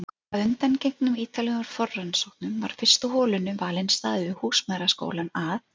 Að undangengnum ítarlegum forrannsóknum var fyrstu holunni valinn staður við húsmæðraskólann að